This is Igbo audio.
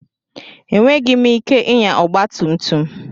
Enweghị m ike ịnya ọgba tum tum.